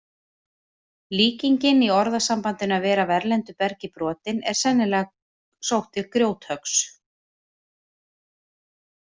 Líkingin í orðasambandinu að vera af erlendu bergi brotinn er sennilega sótt til grjóthöggs.